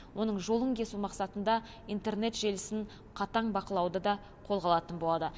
оның жолын кесу мақсатында интернет желісін қатаң бақылауды да қолға алатын болады